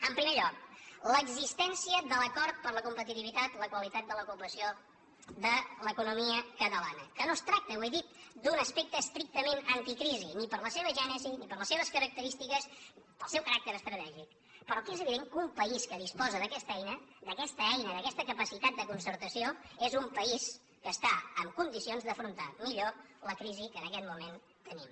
en primer lloc l’existència de l’acord per la competitivitat la qualitat de l’ocupació de l’economia catalana que no es tracta ho he dit d’un aspecte estrictament anticrisi ni per la seva gènesi ni per les seves característiques ni pel seu caràcter estratègic però que és evident que un país que disposa d’aquesta eina d’aquesta eina d’aquesta capacitat de concertació és un país que està en condicions d’afrontar millor la crisi que en aquest moment tenim